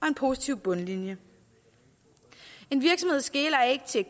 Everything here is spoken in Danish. en positiv bundlinje en virksomhed skeler ikke til